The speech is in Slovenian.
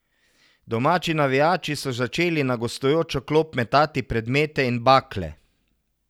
Domači navijači so začeli na gostujočo klop metati predmete in bakle.